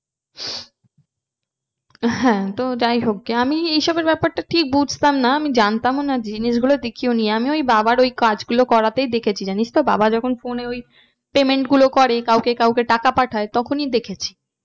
হ্যাঁ তো যাই হোক গে আমি এই সবের ব্যাপারটা ঠিক বুঝতাম না আমি জানতামও না জিনিস গুলো দেখিওনি আমি ওই বাবার ওই কাজ গুলো করাতেই দেখেছি জানিস তো বাবা যখন phone এ ওই payment গুলো করে কাউকে কাউকে টাকা পাঠায় তখনই দেখেছি।